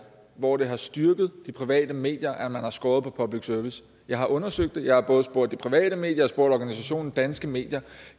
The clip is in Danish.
hvor det har styrket de private medier at man har skåret på public service jeg har undersøgt det og jeg har både spurgt de private medier spurgt organisationen danske medier